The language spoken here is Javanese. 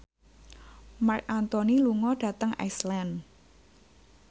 Marc Anthony lunga dhateng Iceland